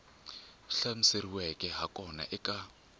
swi hlamuseriweke ha kona eka